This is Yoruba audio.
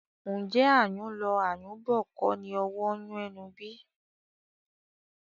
Ǹjẹ́ ayùn lọ, ayùn bọ̀ kọ́ni owó ń yun ẹnu bí?